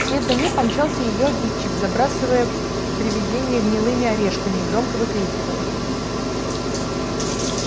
вслед за ней помчался и её обидчик забрасывая привидение гнилыми орешками и громко выкрикивая